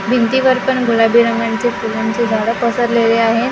भिंतीवर पण गुलाबी रंगांच्या फुलांची झाडं पसरलेली आहे .